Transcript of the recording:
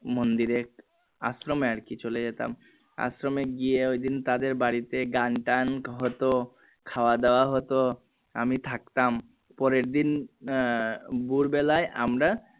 মন্দিরে আশ্রমে আরকি চলে যেতাম আশ্রমে গিয়ে ঐদিন তাদের বাড়িতে গানটান হতো খাওয়া দাওয়া হতো আমি থাকতাম পরের দিন আহ ভোর বেলায় আমরা